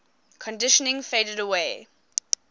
conditioning faded away